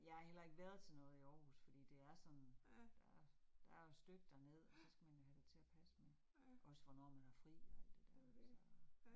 Ja har heller ikke været til noget i Aarhus fordi det er sådan, der er der er jo et stykke derned, og så skal man jo have det til at passe med. Også hvornår man har fri og alt det der så